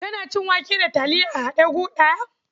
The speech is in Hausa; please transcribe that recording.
Kana cin wake da taliya a haɗe gu ɗaya?